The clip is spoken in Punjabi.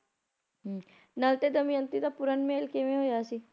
ਹੁੰ ਨਲ ਤੇ ਦਮਿਅੰਤੀ ਦਾ ਪੂਰਨ ਮੇਲ ਕਿਵੇਂ ਹੋਇਆ ਸੀ